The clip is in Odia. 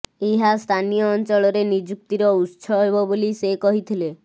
ଏହା ସ୍ଥାନୀୟ ଅଂଚଳରେ ନିଯୁକ୍ତିର ଉତ୍ସ ହେବ ବୋଲି ସେ କହିଥିଲେ